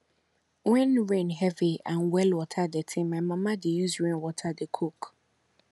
when rain heavy and well water dirty my mama dey use rainwater dey cook